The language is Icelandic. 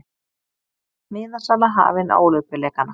Miðasala hafin á Ólympíuleikana